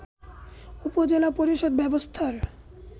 উপজেলা পরিষদ ব্যবস্থার